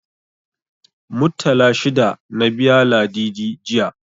Muttala shida na biya Ladidi, jiya.